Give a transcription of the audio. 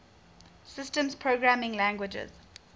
systems programming languages